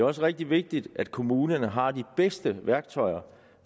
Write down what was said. også rigtig vigtigt at kommunerne har de bedste værktøjer